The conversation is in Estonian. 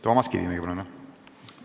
Toomas Kivimägi, palun!